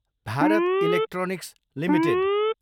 Bharat Electronics Ltd